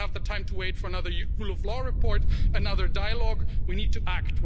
They don't have the time to wait for another rule of law report, another dialogue, we need to act.